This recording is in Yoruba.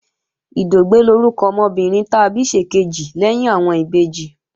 Ìdògbẹ́ lórúkọ ọmọkùnrin ta bí ṣèkejì lẹ́yìn àwọn ìbejì